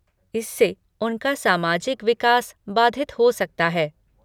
इससे उनका सामाजिक विकास बाधित हो सकता है।